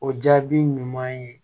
O jaabi ɲuman ye